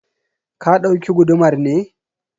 ka dauki gudumar ne?